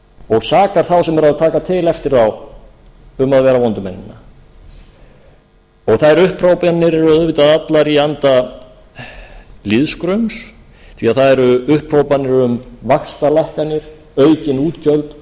og sakar þá sem eru að taka til eftir þá að vera vondu mennina og þær upphrópanir eru auðvitað allar í anda lýðskrums því það eru upphrópanir um vaxtalækkanir aukin útgjöld